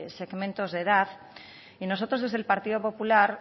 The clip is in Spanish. segmentos de edad y nosotros desde el partido popular